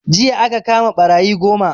Jiya aka kama ɓarayi goma